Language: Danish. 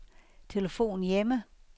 telefon hjemme